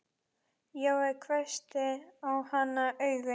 Jói hvessti á hana augun.